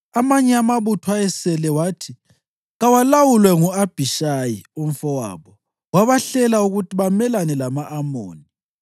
Amanye amabutho ayesele wathi kawalawulwe ngu-Abhishayi umfowabo, wabahlela ukuthi bamelane lama-Amoni.